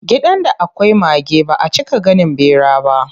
Gidan da akwai mage baʼa cika ganin ɓera ba.